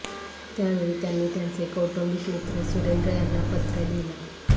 त्यावेळी त्यांनी त्यांचे कौटुंबिक मित्र सुरेंद्र यांना पत्र लिहिलं